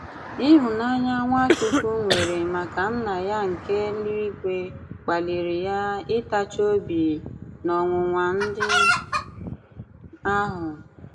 ị̀hụ̀nànyà Nwachukwu nwèrè màkà Nna ya nke èlù-ìgwè kpalìrì ya ịtàchì òbì n’ọ̀nwụ̀nwà̀ ndị̀ àhụ̀.